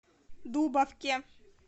дубовке